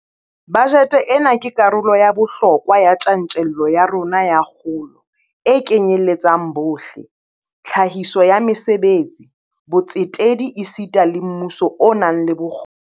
Bajete ena ke karolo ya bohlokwa ya tjantjello ya rona ya kgolo e kenyeletsang bohle, tlhahiso ya mesebetsi, botsetedi esita le mmuso o nang le bokgoni.